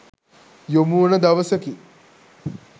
යොමුවන දවසකි.